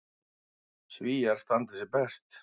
Svíar standi sig best.